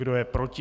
Kdo je proti?